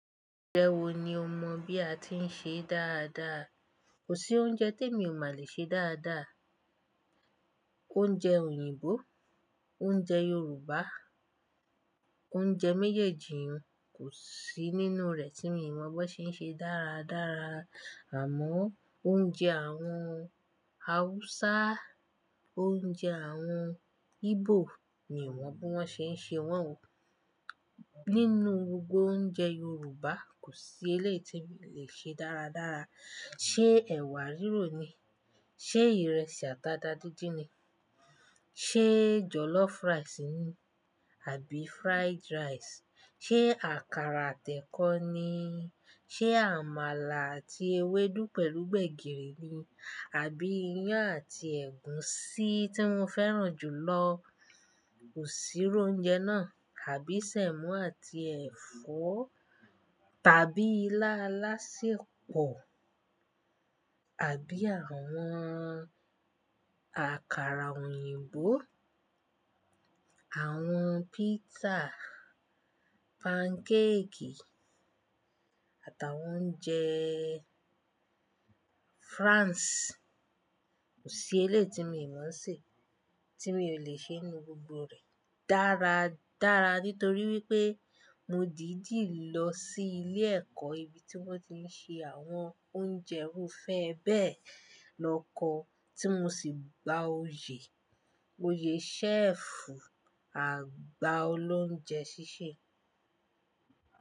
Oúnjẹ wo ni o mọ̀ bí a ti ń ṣe dáadáa? Kò sí oúnjẹ tí mi ò maa lè ṣe dáadáa. Oúnjẹ òyìnbó, oúnjẹ Yorùbá, oúnjẹ méjèèjì kò sí nínú rẹ̀ tí mi ò mọ̀ bi won ṣe ń ṣe dáradára. Àmọ́ oúnjẹ àwọn Hausa, oúnjẹ àwọn Igbo mi ò mọ̀ bí wọ́n ṣe ń ṣe wọ́n o. Nínú gbogbo oúnjẹ Yorùbá, kò sí eléyìí tí mi o lè ṣe dáradára. Ṣé ẹ̀wà rírò ni? Ṣé ìrẹsì ata tá dídín ni? Ṣé jollof rice ni àbí fried rice? Ṣé àkàrà àtẹkọ́ ni? Ṣé àmàlà àti ewédú pẹ̀lú gbẹ̀gìrì ni? Àbí iyán àti ẹ̀gúsí tí mo fẹ́ràn jù lọ kò sí ru oúnjẹ náà, àbí sẹ̀mọ́ àti ẹ̀fọ́, tàbí ilá alásèpọ̀, àbí àwọn àkàrà òyìnbó, àwọn pizza, pancake àtàwọn oúnjẹ France. Kò sí eléyìí tí mi ò mọ̀ ń ṣe, tí mi ò lè ṣe nínú gbogbo rẹ̀ dáradára nítorí wípé mo dìdí lọ sí ilé ẹ̀kọ́ ibi tí wón ti ń ṣe àwọn oúnjẹ rúfẹ́ bẹ́ẹ̀ lọ kọ́ tí mo sì gba oyè, oyè ṣẹ́ẹ̀fù àgbà olóunjẹ sísè.